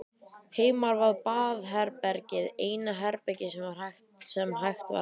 Heima var baðherbergið eina herbergið sem hægt var að læsa.